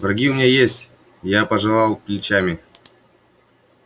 враги у меня есть я пожевал плечами